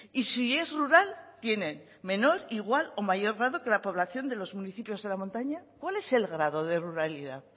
y si es rural tienen menor igual o mayor grado que la población de los municipios de la montaña cuál es el grado de ruralidad